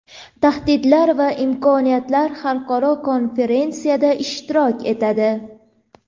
Tahdidlar va imkoniyatlar xalqaro konferensiyasida ishtirok etadi.